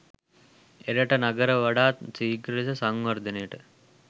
එරට නගර වඩාත් සීඝ්‍ර ලෙස සංවර්ධනයට